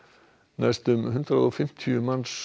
næstum hundrað og fimmtíu manns